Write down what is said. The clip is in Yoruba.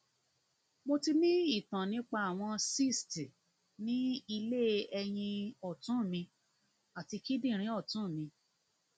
mo ti ní ìtàn nípa àwọn cysts ní ilé ẹyin ọtún mi àti kíndìnrín ọtún mi